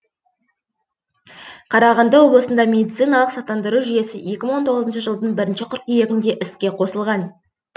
қарағанды облысында медициналық сақтандыру жүйесі екі мың он тоғызыншы жылдың бірінші қыркүйегінде іске қосылған